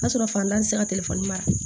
O y'a sɔrɔ fantan tɛ se ka telefɔni mara